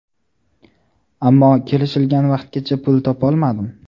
Ammo kelishilgan vaqtgacha pul topolmadim.